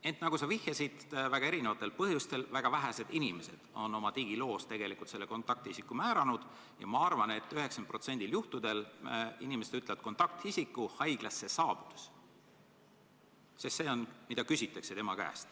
Ent nagu sa vihjasid, on erinevatel põhjustel väga vähesed inimesed oma digiloos kontaktisiku kindlaks määranud, ja ma arvan, et 90% juhtudel ütlevad inimesed kontaktisiku alles haiglasse saabudes, sest see on see, mida nende käest küsitakse.